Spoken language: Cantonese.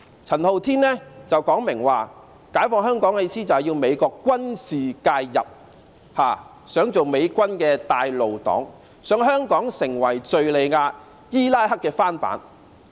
陳浩天曾明言，解放香港的意思是要美國軍事介入，想當美軍的"帶路黨"，想香港成為敘利亞、伊拉克的翻版。